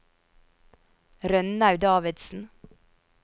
Rønnaug Davidsen